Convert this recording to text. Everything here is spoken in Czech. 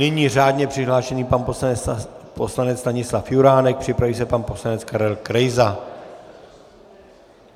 Nyní řádně přihlášený pan poslanec Stanislav Juránek, připraví se pan poslanec Karel Krejza.